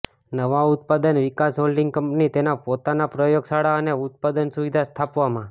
નવા ઉત્પાદન વિકાસ હોલ્ડિંગ કંપની તેના પોતાના પ્રયોગશાળા અને ઉત્પાદન સુવિધા સ્થાપવામાં